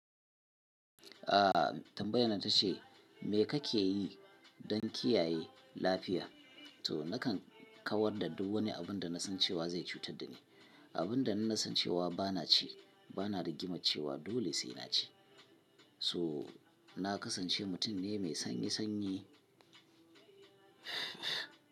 A tambayan nan ta ce me kake yi don kiyaye lafiya? To nakan kawar da duk wani abin da na san cewa zai cutar da ni. Abin da in nasan cewa bana ci bana rigiman cewa dole sai na ci. So na kasance mutum ne mai sanyi sanyi.